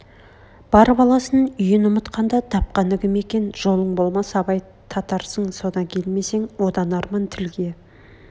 бар баласын үйін ұмытқанда тапқаны кім екен жолың болмас абай татарсың содан келмесең одан арман тілге